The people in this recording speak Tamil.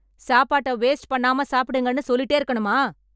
சாப்பாட்டை வேஸ்ட் பண்ணாம சாப்பிடுங்கன்னு சொல்லிட்டே இருக்கணுமா?